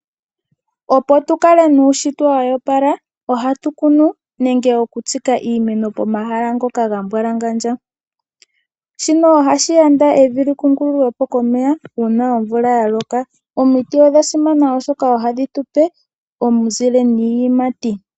Opo tu kale nuushitwe woopala ohatu kunu nenge okutsika iimeno pomahala ngoka ga mbwalangandja, shino ohashi yanda opo evi likungululwa komeya uuna omvula ya loka. Omiti odha simana oshoka ohadhi tu pe omuzile niiyimati.